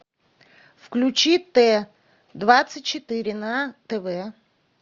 включи т двадцать четыре на тв